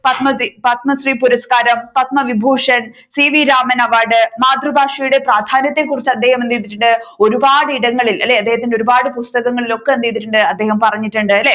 പത്മപത്മശ്രി പുരസ്‌കാരം Padma Vibhushan C V Raman award മാതൃഭാഷയുടെ പ്രാധാന്യത്തെ കുറിച്ച് അദ്ദേഹം എന്ത് ചെയ്തിട്ടുണ്ട് ഒരുപാട് ഇടങ്ങളിൽ അല്ലെ അദ്ദേഹത്തിന്റെ ഒരുപാട് പുസ്തകങ്ങളിൽ ഒക്കെ എന്ത് ചെയ്തിട്ടുണ്ട് അദ്ദേഹം പറഞ്ഞിട്ടുണ്ട് അല്ലെ